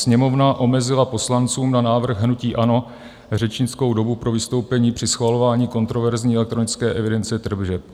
Sněmovna omezila poslancům na návrh hnutí ANO řečnickou dobu pro vystoupení při schvalování kontroverzní elektronické evidence tržeb.